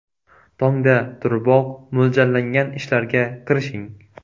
Tongda turiboq, mo‘ljallangan ishlarga kirishing.